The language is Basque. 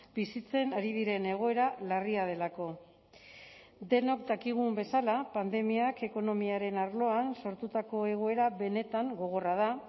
bizitzen ari diren egoera larria delako denok dakigun bezala pandemiak ekonomiaren arloan sortutako egoera benetan gogorra da